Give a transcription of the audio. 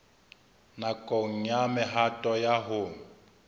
nakong ya mehato ya ho